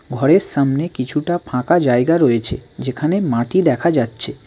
ঘরের সামনে কিছুটা ফাঁকা জায়গা রয়েছে যেখানে মাটি দেখা যাচ্ছে।